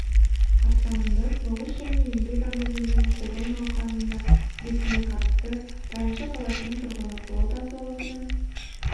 қарсаңында соғыс және еңбек ардагерлерін қолдау науқаныңда белсене қатысты тайынша қаласының тұрғыны ұлы отан соғысының